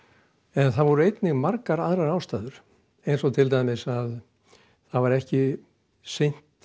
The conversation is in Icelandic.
en það voru einnig margar aðrar ástæður eins og til dæmis að það var ekki sinnt